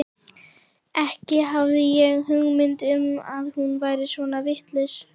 Ekki hafði ég hugmynd um að hún væri svona vitlaus.